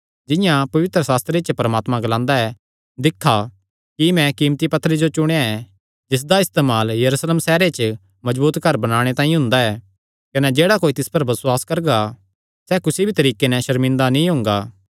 जिंआं पवित्रशास्त्रे च परमात्मा ग्लांदा ऐ दिक्खा कि मैं कीमती पत्थरे जो चुणेया ऐ जिसदा इस्तेमाल यरूशलेम सैहरे च मजबूत घर बणाणे तांई हुंदा ऐ कने जेह्ड़ा कोई तिस पर बसुआस करगा सैह़ कुसी भी तरीके नैं सर्मिंदा नीं हुंगा